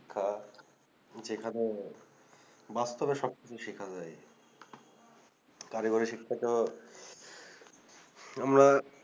শিক্ষা যেখানে বাস্তবে সবথেকে শেখানো যায় কারিগরি শিক্ষা তো আমরা